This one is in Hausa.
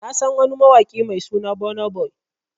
Na San wani mawaki Mai suna Burna Boy.